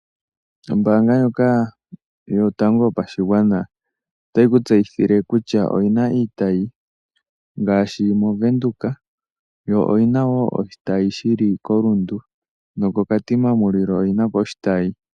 Ombaanga ndjoka yotango yopashigwana otayi kutseyithile kutya oyina iitayi ngaashi moVenduka, Rundu nokoKatima mulilo.